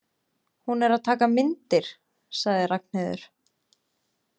Hún er að taka myndir, sagði Ragnheiður.